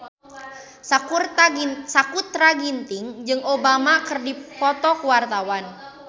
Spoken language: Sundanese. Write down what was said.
Sakutra Ginting jeung Obama keur dipoto ku wartawan